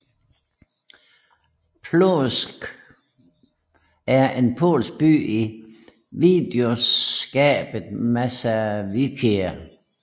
Płońsk er en polsk by i voivodskabet Mazowieckie